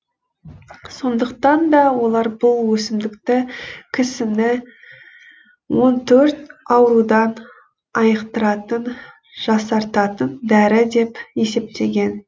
сондықтан да олар бұл өсімдікті кісіні он төрт аурудан айықтыратын жасартатын дәрі деп есептеген